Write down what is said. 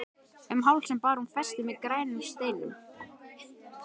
Um hálsinn bar hún festi með grænum steinum.